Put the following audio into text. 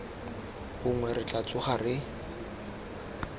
gongwe re tla tsoga re